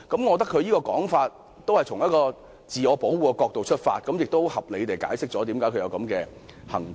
我認為，他這種說法是從自我保護的角度出發，合理地解釋了他現在的舉動。